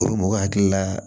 O mɔgɔ hakili la